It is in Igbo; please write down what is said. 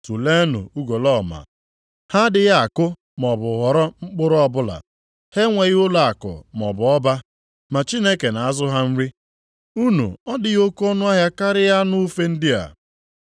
Tuleenụ ugolọma. Ha adịghị akụ maọbụ ghọrọ mkpụrụ ọbụla. Ha enweghị ụlọakụ maọbụ ọba, ma Chineke na-azụ ha nri. Unu ọ dịghị oke ọnụahịa karịa anụ ufe ndị a.